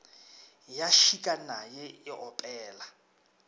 ya šika naye e opela